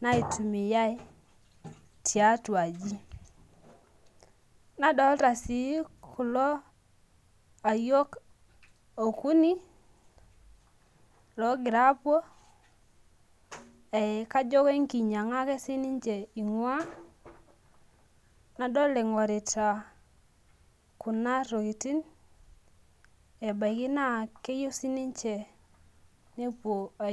naitumia tiatua aji nadolta si kulo ayiok okuni ogira apuo ajo enkinyannga ake ingua nadol ingorita kuna tokitin ebaki keyieu sinche nepuoi ai